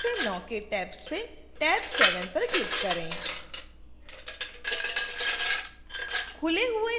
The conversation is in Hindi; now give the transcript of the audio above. शीर्ष पर वापस जाएँ और 0 से 9 के टैब से टैब 7 पर क्लिक करें